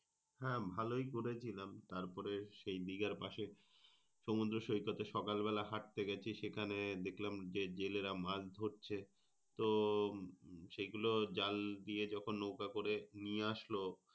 হ্যাঁ ভালোই ঘুরেছিলাম। তারপরে সেই দিঘার পাসে সমুদ্রসৈকতে সকালবেলা হাঁটতে গেছি সেখান দেখলাম যে জেলেরা মাছ ধরছে। তো সেগুলো জাল দিয়ে যখন নৌকা করে নিয়ে আসলো,